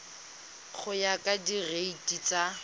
go ya ka direiti tsa